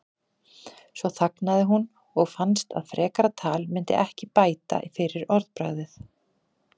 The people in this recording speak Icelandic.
Svo þagnaði hún og fannst að frekara tal myndi ekki bæta fyrir orðbragðið.